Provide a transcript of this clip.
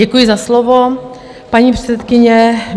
Děkuji za slovo, paní předsedkyně.